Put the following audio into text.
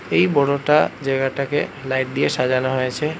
এই বড়টা জায়গাটাকে লাইট দিয়ে সাজানো হয়েছে।